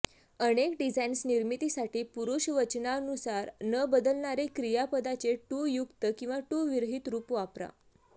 अनेक डिझाईन्स निर्मिती साठी पुरूषवचनानुसार न बदलणारे क्रियापदाचे टु युक्त किंवा टु विरहित रूप वापरा